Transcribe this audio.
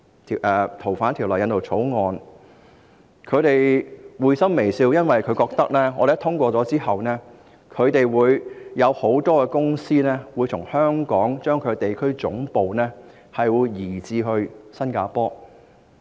他們都發出會心微笑，因為他們覺得只要香港通過該條例草案，很多公司便會把地區總部從香港搬至新加坡。